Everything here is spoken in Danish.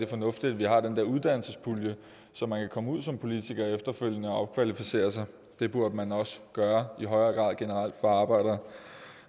fornuftigt at vi har den dér uddannelsespulje så man kan komme ud som politiker efterfølgende og opkvalificere sig det burde man også gøre i højere grad generelt for arbejdere